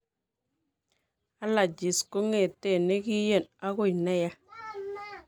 Allergies kong'eten nekien akoi neyaa